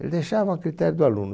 Ele deixavam a critério do aluno.